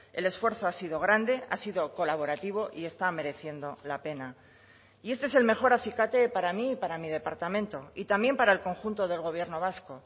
el esfuerzo ha sido grande ha sido colaborativo y está mereciendo la pena y este es el mejor acicate para mí y para mi departamento y también para el conjunto del gobierno vasco